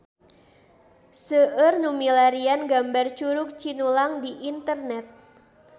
Seueur nu milarian gambar Curug Cinulang di internet